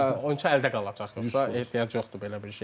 Çünki oyunçu əldə qalacaq yoxsa ehtiyac yoxdur belə bir şeyə.